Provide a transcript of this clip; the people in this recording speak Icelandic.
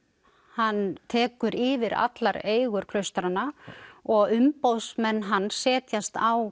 hann tekur yfir allar eigur klaustranna og umboðsmenn hans setjast á